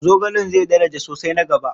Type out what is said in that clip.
Zogalen zai daraja sosai na gaba.